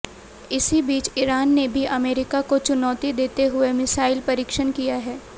इसी बीच इरान ने भी अमेरिका को चुनौती देते हुए मिसाइल परिक्षण किया है